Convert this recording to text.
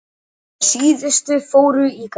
Þær síðustu fóru í gær.